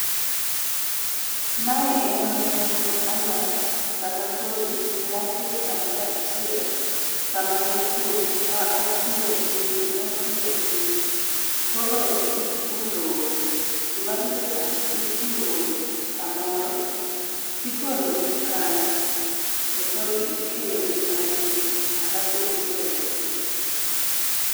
Mae en alt kata kodhi moket kamoro achiel kama ne okuok ma okir okir, kama ne okir. Koro ipuro, gima biro e pacha ipuro kamoro tigolo gi kanyo tokoro ikeyo gi matin acs]alafu idoyogi.